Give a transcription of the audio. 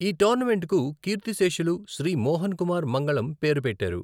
ఈ టోర్నమెంట్కు కీర్తిశేషులు శ్రీ మోహన్ కుమార్ మంగళం పేరు పెట్టారు.